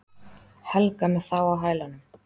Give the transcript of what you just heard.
Helga með þá á hælunum.